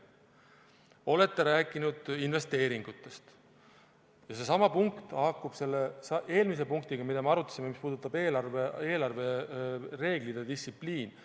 Olete rääkinud investeeringutest ja seesama punkt haakub selle eelmise punktiga, mida me arutasime, mis puudutab eelarvereegleid ja -distsipliini.